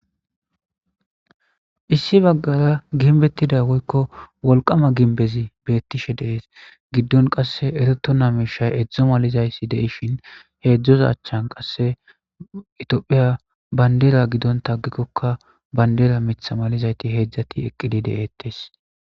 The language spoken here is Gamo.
issi baggara ginbettida woykko wolqama ginbezi beettishe dees giddon qasse ereto na meshay edzdzo malizayssi deishin heedzdzos achchan qasse itphiya bayndera giddontagikkokka bandera mitha malizayti heedzdzati eqqidi de7eettes